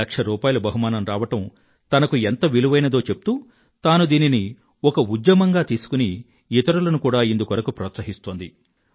లక్షరూపాయల బహుమానం రావడం తనకు ఎంత విలువైనదో చెప్తూ తాను దీనిని ఒక ఉద్యమంగా తీసుకుని ఇతరులను కూడా ఇందుకోసం ప్రోత్సహిస్తోంది